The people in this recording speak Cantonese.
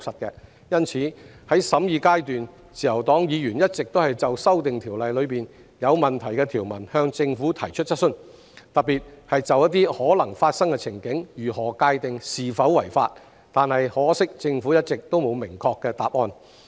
因此，在審議階段，自由黨議員一直就《條例草案》內有問題的條文——特別是如何界定一些可能發生的情景是否違法——向政府提出質詢，但可惜政府一直沒有明確的答案。